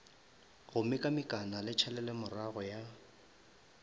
go mekamekana le tšhalelomorago ya